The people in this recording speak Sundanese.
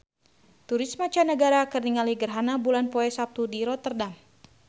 Turis mancanagara keur ningali gerhana bulan poe Saptu di Rotterdam